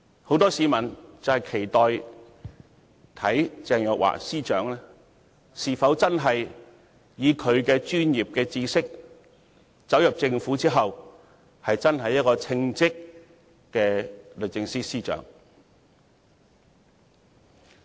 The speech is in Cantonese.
很多市民都期望看看鄭若驊女士進入政府後，是否真的能憑着她的專業知識，成為稱職的律政司司長。